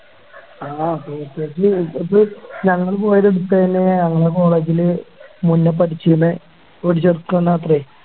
ആ Package ഇതിപ്പോ ഞങ്ങള് പോയത് ഞങ്ങളെ College ലെ മുന്നേ പഠിച്ചിരുന്ന ഒരു ചെറുക്കൻ മാത്രേ